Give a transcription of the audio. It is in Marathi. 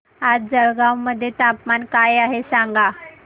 आज जळगाव मध्ये तापमान काय आहे सांगा